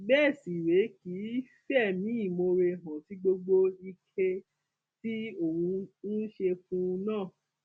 bẹẹ sì rèé kì í fẹmí ìmoore hàn sí gbogbo ike tí òun ń ṣe fún un náà